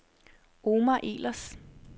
Omar Ehlers